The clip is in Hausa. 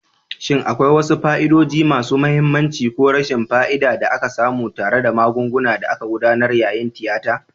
Shin akwai wasu fa'idodi masu mahimmanci ko rashin fa'ida da aka samu tare da magungunan da aka gudanar yayin tiyata?